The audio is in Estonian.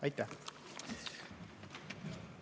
Aitäh!